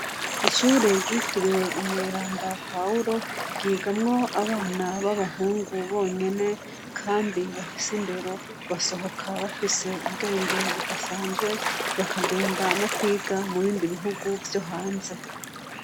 Ishure ryitiriwe umweranda Pawuro ryigamwo abana b'abahungu bonyene kandi bafise indero, basohoka bafise ubwenge budasanzwe bakagenda no kwiga mu bindi bihugu vyo hanze.